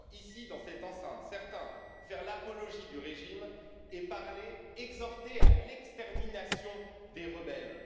J'entends ici, dans cette enceinte, certains faire l'apologie du régime et exhorter à l'extermination des rebelles.